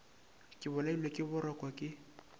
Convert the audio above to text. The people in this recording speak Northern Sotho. ke bolailwe ke boroko ke